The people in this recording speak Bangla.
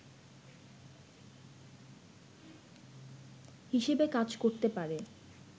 হিসেবে কাজ করতে পারে